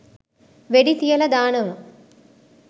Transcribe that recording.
වෙඩි තියල දානව